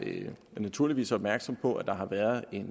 naturligvis opmærksom på at der har været